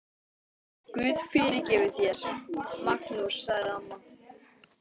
Guð fyrirgefi þér, Magnús, sagði amma.